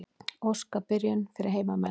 Óska byrjun fyrir heimamenn.